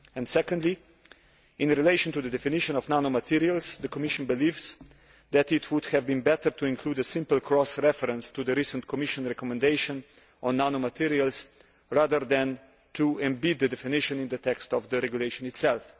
Secondly, in relation to the definition of nanomaterials, the Commission believes that it would have been better to include a simple cross reference to the recent Commission recommendation on nanomaterials rather than to embed the definition in the text of the regulation itself.